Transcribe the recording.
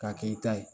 K'a kɛ i ta ye